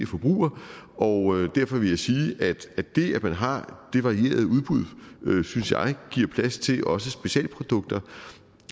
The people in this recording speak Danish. forbruger og derfor vil jeg sige at det at man har det varierede udbud synes jeg giver plads til også specialprodukter